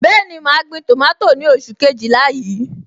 Bẹẹni, ma gbin tomato ni oṣù Kejìlá yìí.